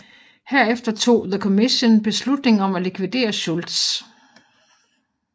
Herefter tog The Commission beslutning om at likvidere Schultz